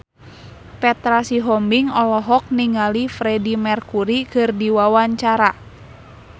Petra Sihombing olohok ningali Freedie Mercury keur diwawancara